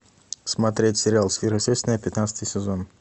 смотреть сериал сверхъестественное пятнадцатый сезон